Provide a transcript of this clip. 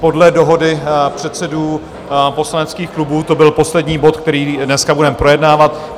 Podle dohody předsedů poslaneckých klubů to byl poslední bod, který dneska budeme projednávat.